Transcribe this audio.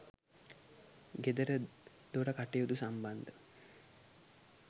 ගෙදරදොර කටයුතු සම්බන්ධ